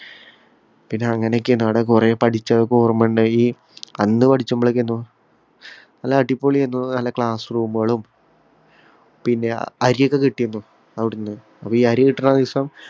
പിന്നെ അങ്ങനെയൊക്കെയ്നു. കൊറേ പഠിച്ചതൊക്കെ ഓര്‍മ്മയുണ്ടായി. നല്ല അടിപൊളി എന്തുവാ നല്ല അടിപൊളി class room ഉകളും പിന്നെ അരിയൊക്കെ കിട്ടീന്നു അവിടുന്ന്. ഇപ്പൊ ഈ അരി കിട്ടണ ദിവസം